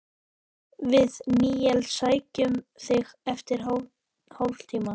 Við Níels sækjum þig eftir hálftíma.